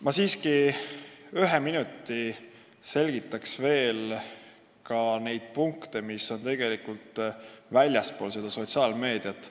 Ma siiski ühe minuti selgitan ka veel neid punkte, mis on tegelikult väljaspool seda sotsiaalmeediat.